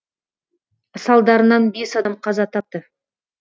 салдарынан бес адам қаза тапты